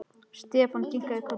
Stefán kinkaði kolli.